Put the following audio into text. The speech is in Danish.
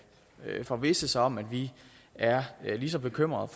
forvisse sig om at vi er lige så bekymrede